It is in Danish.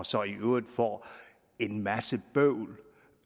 så i øvrigt får en masse bøvl